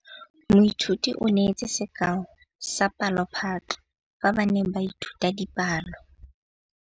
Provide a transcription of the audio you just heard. Moithuti o neetse sekaô sa palophatlo fa ba ne ba ithuta dipalo.